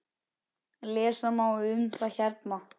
Lesa má um það hérna.